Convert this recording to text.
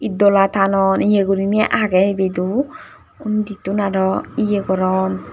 edola tanon iye guriney agey ebedow unditun arow iye goron.